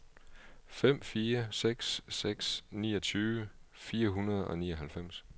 fem fire seks seks niogtyve fire hundrede og nioghalvfems